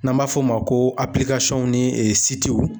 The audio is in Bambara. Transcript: N'an b'a f'o ma ko ni